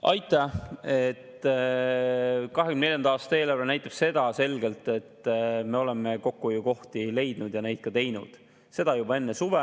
2024. aasta eelarve näitab selgelt, et me oleme kokkuhoiukohti leidnud ja ka teinud, seda juba enne suve.